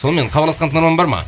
сонымен хабарласқан тыңдарман бар ма